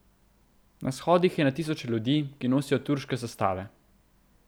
Na shodih je na tisoče ljudi, ki nosijo turške zastave.